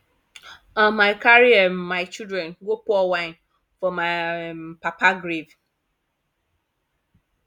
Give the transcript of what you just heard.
um i carry um my children go pour wine for my um papa grave